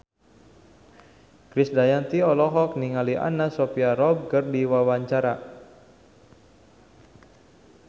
Krisdayanti olohok ningali Anna Sophia Robb keur diwawancara